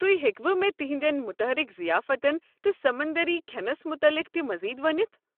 تتُہۍ ہیكوٕ مےٚ تہنٛدٮ۪ن متحرک ضیافتن تہٕ سمندٔری کھٮ۪نَس متعلِق تہِ مٔزیٖد ؤنِتھ؟